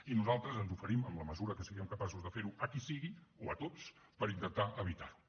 i nosaltres ens oferim en la mesura que siguem capaços de fer ho a qui sigui o a tots per intentar evitar ho